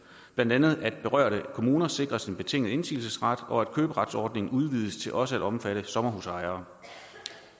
blandt andet at berørte kommuner sikres en betinget indsigelsesret og at køberetsordningen udvides til også at omfatte sommerhusejere